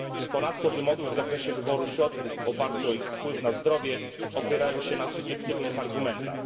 Ponadto wymogi w zakresie wyboru środków w oparciu o ich wpływ na zdrowie opierają się na subiektywnych argumentach.